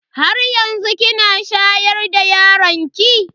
Haryanzu kina shayar da yaron ki?